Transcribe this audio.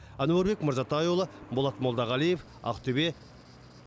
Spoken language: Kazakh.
әнуарбек мырзатайұлы болат молдағалиев ақтөбе